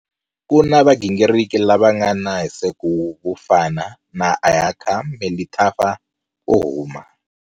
Ku na vagingiriki lava nga na hiseko vo fana na Ayakha Melithafa wo huma.